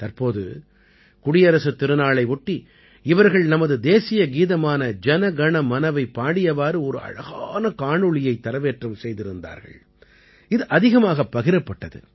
தற்போது குடியரசுத் திருநாளை ஒட்டி இவர்கள் நமது தேசிய கீதமான ஜன கண மனவை பாடியவாறு ஒரு அழகான காணொளியை தரவேற்றம் செய்திருந்தார்கள் இது அதிகமாகப் பகிரப்பட்டது